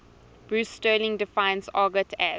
bruce sterling defines argot as